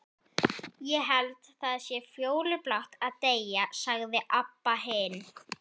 Ég held það sé fjólublátt að deyja, sagði Abba hin.